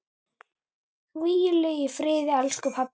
Hvíl í friði, elsku pabbi.